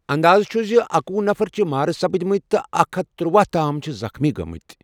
انٛدازٕ چُھ زِاکۄُہ نفر چھِ مارٕ سَپٕدٕمتہِ تہٕ اکھَ ہتھَ ترۄہَ تام چھِ زخمی گٲمٕتہِ ۔